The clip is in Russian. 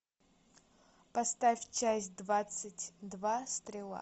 поставь часть двадцать два стрела